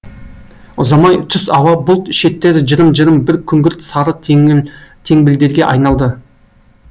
ұзамай түс ауа бұлт шеттері жырым жырым бір күңгірт сары теңбілдерге айналды